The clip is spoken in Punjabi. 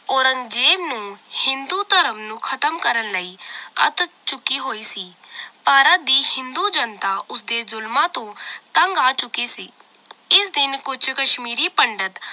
ਔਰੰਗਜੇਬ ਨੂੰ ਹਿੰਦੂ ਧਰਮ ਨੂੰ ਖਤਮ ਕਰਨ ਲਈ ਅੱਤ ਚੁੱਕੀ ਹੋਈ ਸੀ ਭਾਰਤ ਦੀ ਹਿੰਦੂ ਜਨਤਾ ਉਸ ਦੇ ਜ਼ੁਲਮਾਂ ਤੋਂ ਤੰਗ ਆ ਚੁੱਕੀ ਸੀ ਇਸ ਦਿਨ ਕੁਛ ਕਸ਼ਮੀਰੀ ਪੰਡਿਤ